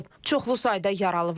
Çoxlu sayda yaralı var.